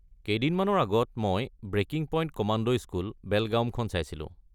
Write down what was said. কেইদিনমানৰ আগত মই ‘Breaking Point: Commando School, Belgaum’ খন চাইছিলোঁ।